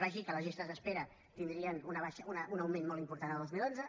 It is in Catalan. vaig dir que les llistes d’espera tindrien un augment molt important el dos mil onze